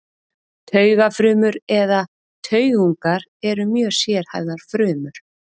Taugafrumur eða taugungar eru mjög sérhæfðar frumur.